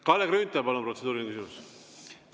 Kalle Grünthal, palun, protseduuriline küsimus!